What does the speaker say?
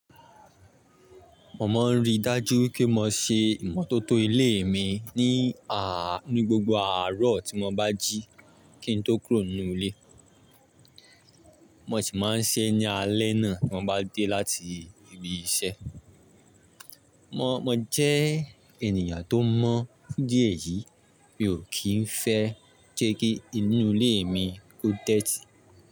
Mo ma ń ríi dájú wipé mo se ìmọ́tótó ilé mi ní ni gbogbo àárọ̀ tí mo bá jí kí n tó kúrò nínú ilé. Mo sì máa ń ṣẹ́ ní alẹ́ náà tí mo bá dé láti ibi iṣẹ́. Mo jẹ́ ènìyàn tó mọ́ fun idí ẹ̀yìí, mi ò kín fẹ́ jẹ́ kí inú ilé mi ó tẹ́tí.